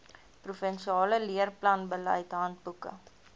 provinsiale leerplanbeleid handboeke